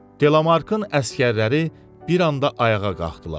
Delamarkın əsgərləri bir anda ayağa qalxdılar.